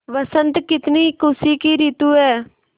बसंत कितनी खुशी की रितु है